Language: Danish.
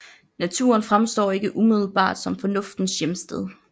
Naturen fremstår ikke umiddelbart som Fornuftens hjemsted